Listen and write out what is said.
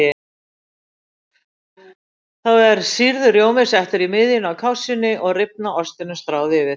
Þá er sýrður rjómi settur í miðjuna á kássunni og rifna ostinum stráð yfir.